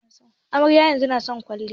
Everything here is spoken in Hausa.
Amaren yanzun nason kwaliya